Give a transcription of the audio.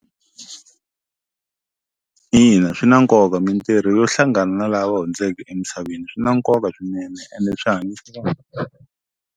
Ina swi na nkoka mintirho yo hlangana lava hundzeke emisaveni swi na nkoka swinene ene swa .